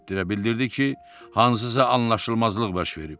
və bildirdi ki, hansısa anlaşılmazlıq baş verib.